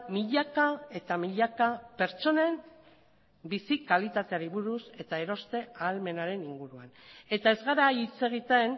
milaka eta milaka pertsonen bizi kalitateari buruz eta eroste ahalmenaren inguruan eta ez gara hitz egiten